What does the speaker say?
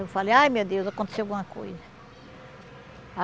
Eu falei, ai, meu Deus, aconteceu alguma coisa.